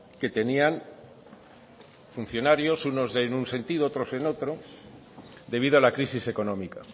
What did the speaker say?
que tenían funcionarios unos en un sentido otros en otro debido a la crisis económica